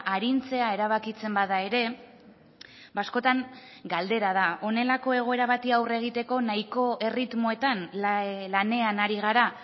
arintzea erabakitzen bada ere askotan galdera da honelako egoera bati aurre egiteko nahiko erritmoetan lanean ari gara